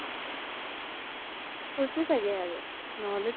কৈছি চাগে আৰু ন্হলি তো